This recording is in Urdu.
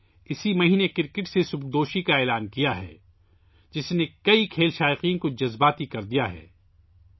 انھوں نے اسی مہینے کرکٹ کو خیرباد کہنے کا اعلان کیا ہے، جس نے کئی کھیل شائقین کو جذبات سے مغلوب کردیا ہے